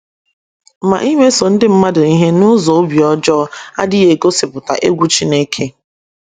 Ma imeso ndị mmadụ ihe n’ụzọ obi ọjọọ adịghị egosipụta egwu Chineke.